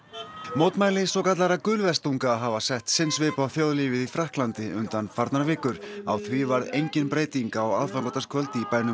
mótmæli svokallaðra hafa sett sinn svip á þjóðlífið í Frakklandi undanfarnar vikur á því varð engin breyting á aðfangadagskvöld í bænum